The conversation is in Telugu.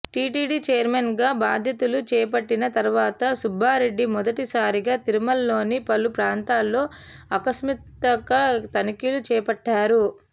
టీటీడీ చైర్మన్గా బాధ్యతలు చేపట్టిన తర్వాత సుబ్బారెడ్డి మొదటి సారిగా తిరుమలలోని పలు ప్రాంతాల్లో ఆకస్మిక తనిఖీలు చేపట్టారు